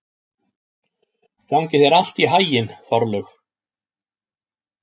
Gangi þér allt í haginn, Þorlaug.